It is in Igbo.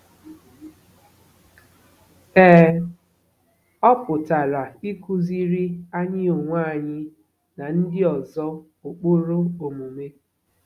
Ee, ọ pụtara ịkụziri anyị onwe anyị na ndị ọzọ ụkpụrụ omume.